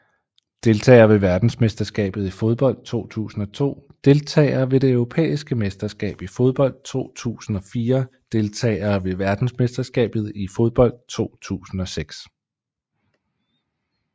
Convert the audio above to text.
Deltagere ved verdensmesterskabet i fodbold 2002 Deltagere ved det europæiske mesterskab i fodbold 2004 Deltagere ved verdensmesterskabet i fodbold 2006